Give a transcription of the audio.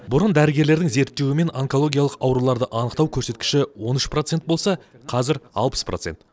бұрын дәрігерлердің зерттеуімен онкологиялық ауруларды анықтау көрсеткіші он үш процент болса қазір алпыс процент